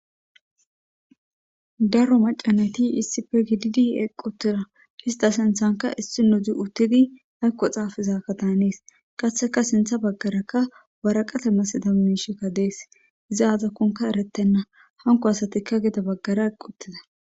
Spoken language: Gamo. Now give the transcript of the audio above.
daro macanati issi fe gididi eqqutira hista sinthanka issi nu di uttidi haykko xaafizakka taanees qatheka sintha baggarakka waraqate masida mishekka dees iza azakkonka eretenna hanko asatikka gida baggara uttida.